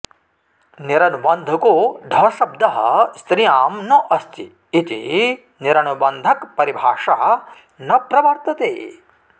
निरनुबन्धको ढशब्दः स्त्रियां न अस्ति इति निरनुबन्धकपरिभाषा न प्रवर्तते